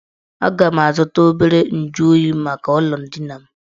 Aga m azụta obere nju oyi maka ụlọ ndina m